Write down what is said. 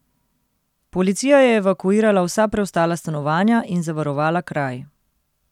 Policija je evakuirala vsa preostala stanovanja in zavarovala kraj.